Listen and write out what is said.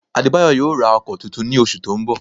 Adébáyọ̀ yóò ra ọkọ tuntun ní oṣù tó ń bọ̀